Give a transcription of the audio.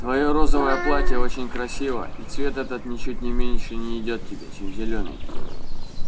твоё розовое платье очень красиво и цвет этот ничуть не меньше не идёт тебе чем зелёный